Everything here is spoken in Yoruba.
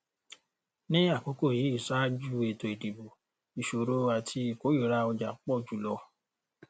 ní àkókò yìí ṣáájú ètò ìdìbò ìṣòro àti ìkórìíra ọjà pọ jù lọ